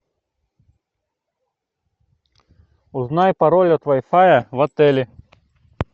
узнай пароль от вай фая в отеле